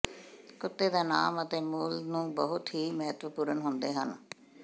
ਕੁੱਤੇ ਦਾ ਨਾਮ ਅਤੇ ਮੁੱਲ ਨੂੰ ਬਹੁਤ ਹੀ ਮਹੱਤਵਪੂਰਨ ਹੁੰਦੇ ਹਨ